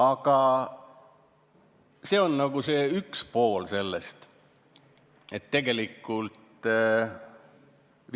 Aga jah, see on üks pool sellest eelnõust.